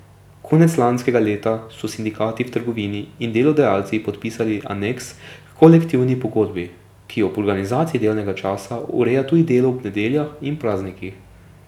Konec lanskega leta so sindikati v trgovini in delodajalci podpisali aneks h kolektivni pogodbi, ki ob organizaciji delovnega časa ureja tudi delo ob nedeljah in praznikih.